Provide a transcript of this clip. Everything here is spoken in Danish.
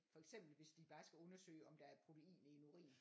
For eksempel hvis de bare skal undersøge om der er protein i en urin